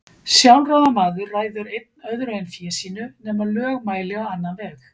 Sjálfráða maður ræður einn öðru en fé sínu, nema lög mæli á annan veg.